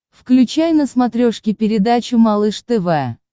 включай на смотрешке передачу малыш тв